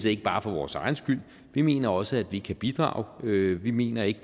ikke bare for vores egen skyld vi mener også at vi kan bidrage vi vi mener ikke